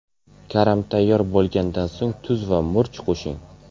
Karam tayyor bo‘lgandan so‘ng tuz va murch qo‘shing.